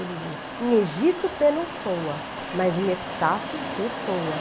Ele dizia, em Egito, pé não soa, mas em Epitácio, pé soa.